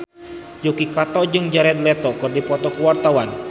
Yuki Kato jeung Jared Leto keur dipoto ku wartawan